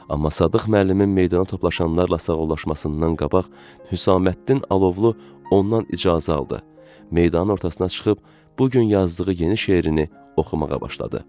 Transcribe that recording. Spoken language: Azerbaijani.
Amma Sadıq müəllimin meydana toplaşanlarla sağollaşmasından qabaq Hüsəməddin Alovlu ondan icazə aldı, meydanın ortasına çıxıb bu gün yazdığı yeni şeirini oxumağa başladı.